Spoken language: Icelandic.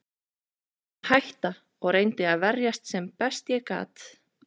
Ég bað hann að hætta og reyndi að verjast sem best ég gat.